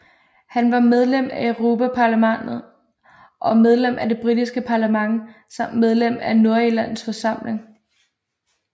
Han var medlem af Europaparlamentet og medlem af det britiske parlament samt medlem af Nordirlands forsamling